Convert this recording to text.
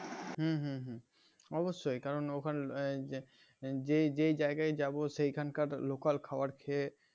হম হম হম অবশ্যই কারণ ওখানে ঐ যে যে জায়গায় যাব সেখানকার local খাবার খেয়ে